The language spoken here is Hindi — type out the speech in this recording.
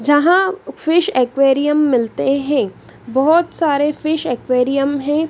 जहां फिश एक्वेरियम मिलते हैं। बहोत सारे फिश एक्वेरियम है।